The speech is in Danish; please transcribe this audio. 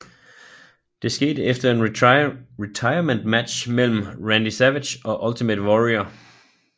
Det skete efter en retirement match mellem Randy Savage og Ultimate Warrior